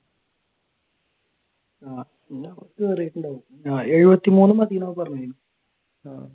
എഴുപത്തിമൂന്ന് മതീന്നാ പറഞ്ഞത്